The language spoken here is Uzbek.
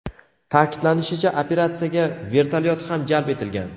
Ta’kidlanishicha, operatsiyaga vertolyot ham jalb etilgan.